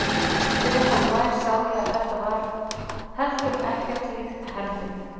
Þegar ég kom nær sá ég að þetta var heldur ekkert líkt Herði.